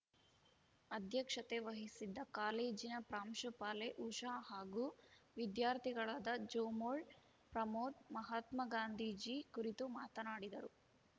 ಅಧ್ಯಕ್ಷತೆ ವಹಿಸಿದ್ದ ಕಾಲೇಜಿನ ಪ್ರಾಂಶುಪಾಲೆ ಉಷಾ ಹಾಗೂ ವಿದ್ಯಾರ್ಥಿಗಳಾದ ಜೋಮೋಳ್‌ ಪ್ರಮೋದ್‌ ಮಹಾತ್ಮಾ ಗಾಂಧೀಜಿ ಕುರಿತು ಮಾತನಾಡಿದರು